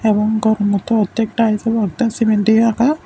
এবং ঘর মতো অর্ধেক টাইলস এবং অর্ধেক সিমেন্ট দিয়ে রাখা।